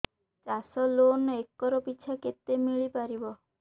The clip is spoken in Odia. ଚାଷ ଲୋନ୍ ଏକର୍ ପିଛା କେତେ ମିଳି ପାରିବ